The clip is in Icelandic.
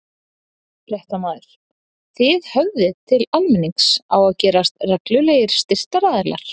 Fréttamaður: Þið höfðið til almennings á að gerast reglulegir styrktaraðilar?